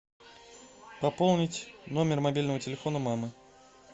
пополнить номер мобильного телефона мамы